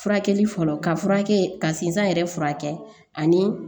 Furakɛli fɔlɔ ka furakɛ ka sin yɛrɛ furakɛ ani